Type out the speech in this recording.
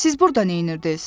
Siz burda neynirdiz?